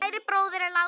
Kær bróðir er látinn.